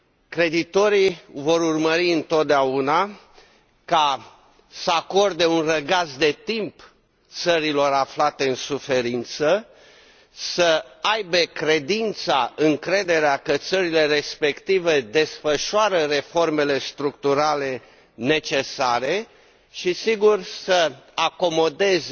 Creditorii vor urmări întotdeauna să acorde un răgaz de timp țărilor aflate în suferință, având credința, încrederea că țările respective desfășoară reformele structurale necesare și, sigur, să acomodeze